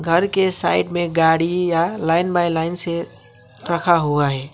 घर के साइड में गाड़ी या लाइन बाई लाइन से रखा हुआ है।